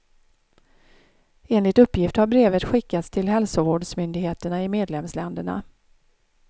Enligt uppgift har brevet skickats till hälsovårdsmyndigheterna i medlemsländerna.